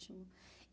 Ótimo.